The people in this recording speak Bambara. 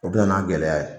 O bɛ na n'a gɛlɛya ye